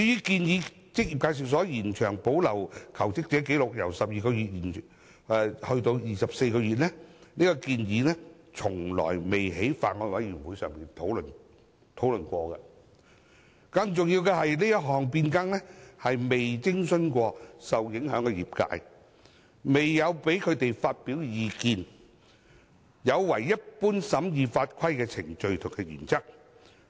至於把職業介紹所保留求職者紀錄的期限由12個月延長至24個月，這項建議從未在法案委員會上討論過，更重要的是這項變更未徵詢過受影響的業界，未有讓他們發表意見，有違一般審議法規的程序和原則。